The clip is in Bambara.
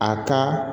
A ka